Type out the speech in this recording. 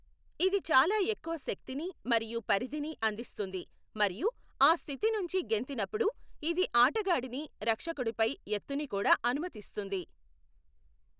ఇది చాలా ఎక్కువ శక్తిని మరియు పరిధిని అందిస్తుంది, మరియు ఆ స్థితి నుంచి గెంతినప్పుడు ఇది ఆటగాడిని రక్షకుడుపై ఎత్తుని కూడా అనుమతిస్తుంది.